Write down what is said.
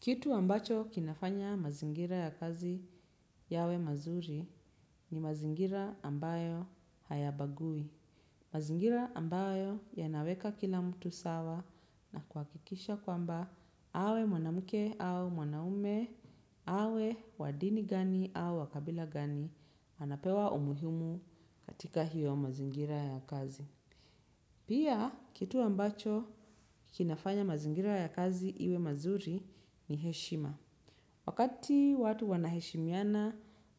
Kitu ambacho kinafanya mazingira ya kazi yawe mazuri ni mazingira ambayo hayabagui. Mazingira ambayo yanaweka kila mtu sawa na kuhakikisha kwamba awe mwanamke au mwanaume, awe wadini gani au wakabila gani anapewa umuhumu katika hiyo mazingira ya kazi. Pia kitu ambacho kinafanya mazingira ya kazi iwe mazuri ni heshima. Wakati watu wanaheshimiana